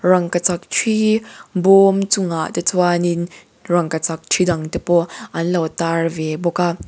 rangkachak thi bawm chungah te chuan in rangkachak thi dang te pawh an lo tar ve bawk a.